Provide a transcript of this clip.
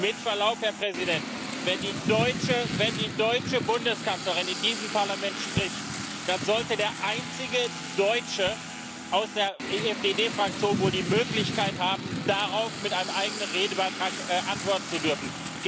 Mit Verlaub, Herr Präsident, wenn die deutsche Bundeskanzlerin in diesem Parlament spricht, dann sollte der einzige Deutsche aus der EFDD Fraktion wohl die Möglichkeit haben, darauf mit einem eigenen Redebeitrag antworten zu dürfen.